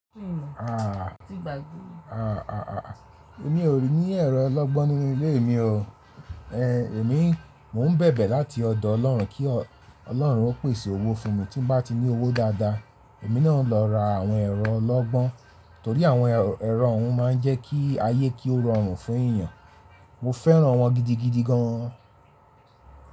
Àà, àà àà. Èmi ò ní ẹ̀rọ ọlọ́gbọ́n nínú ilé mi o. Ehn, èmi mò ń bẹ̀bẹ̀ láti ọ̀dọ̀ Ọlọ́run kí Ọlọ́run ó pèsè owó fún mi tí n bá tí ní owó dáadáa, èmi náà lọ ra àwọn ẹ̀rọ ọlọ́gbọ́n, torí àwọn ẹ̀rọ hun máa ń jẹ́ kí ayé kí ó rọrùn fún èyàn. Mo fẹ́ràn wọn gidigidi gan.